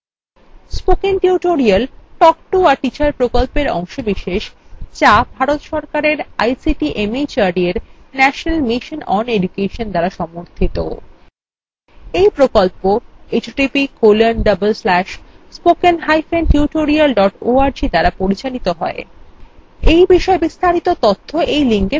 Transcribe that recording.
এই বিষয়ে বিস্তারিত তথ্য এই লিঙ্কে প্রাপ্তিসাধ্য